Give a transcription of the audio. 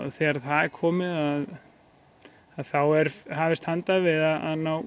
þegar það er komið þá er hafist handa við að ná